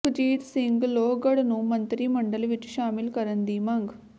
ਸੁਖਜੀਤ ਸਿੰਘ ਲੋਹਗੜ੍ਹ ਨੂੰ ਮੰਤਰੀ ਮੰਡਲ ਵਿਚ ਸ਼ਾਮਿਲ ਕਰਨ ਦੀ ਮੰਗ